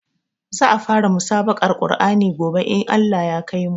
Za a fara musabaƙar Qur'ani gobe in Allah ya kaimu